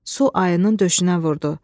Su ayının döşünə vurdu.